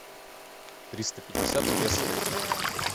триста пятьдесят песо в рублях